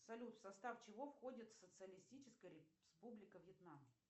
салют в состав чего входит социалистическая республика вьетнам